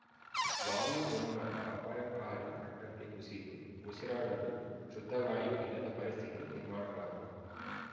ವಾಯು ಗುಣಮಟ್ಟಅಪಾಯಕಾರಿ ಮಟ್ಟಕ್ಕೆ ಕುಸಿದು ಉಸಿರಾಡಲು ಶುದ್ಧಗಾಳಿಯೂ ಇಲ್ಲದ ಪರಿಸ್ಥಿತಿ ನಿರ್ಮಾಣವಾಗಿದೆ